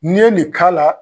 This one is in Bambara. N'i ye nin k'a la